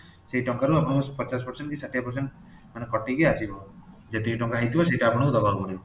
ସେହି ଟଙ୍କାରୁ ଆପଣଙ୍କୁ ପଚାଶ percent କି ଷାଠିଏ percent ମାନେ କଟିକି ଆସିବ ଯେତିକି ଟଙ୍କା ହେଇଥିବ ସେଇଟା ଆପଣଙ୍କୁ ଦେବାକୁ ପଡିବ